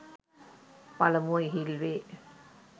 පළමුව ඉහිල් වේ.